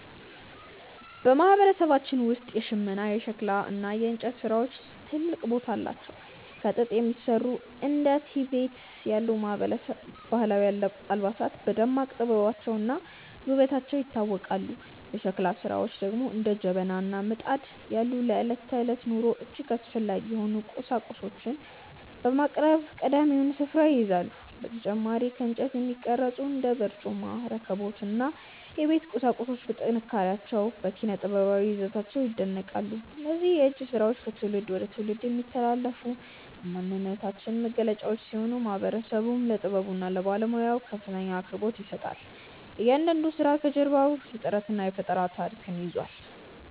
በማህበረሰባችን ውስጥ የሽመና፣ የሸክላ እና የእንጨት ስራዎች ትልቅ ቦታ አላቸው። ከጥጥ የሚሰሩ እንደ ቲቤት ያሉ ባህላዊ አልባሳት በደማቅ ጥበባቸውና ውበታቸው ይታወቃሉ። የሸክላ ስራዎች ደግሞ እንደ ጀበና እና ምጣድ ያሉ ለዕለት ተዕለት ኑሮ እጅግ አስፈላጊ የሆኑ ቁሳቁሶችን በማቅረብ ቀዳሚውን ስፍራ ይይዛሉ። በተጨማሪም ከእንጨት የሚቀረጹ እንደ በርጩማ፣ ረከቦት እና የቤት ቁሳቁሶች በጥንካሬያቸውና በኪነ-ጥበባዊ ይዘታቸው ይደነቃሉ። እነዚህ የእጅ ስራዎች ከትውልድ ወደ ትውልድ የሚተላለፉ የማንነታችን መገለጫዎች ሲሆኑ፣ ማህበረሰቡም ለጥበቡና ለባለሙያዎቹ ከፍተኛ አክብሮት ይሰጣል። እያንዳንዱ ስራ ከጀርባው የጥረትና የፈጠራ ታሪክ ይዟል።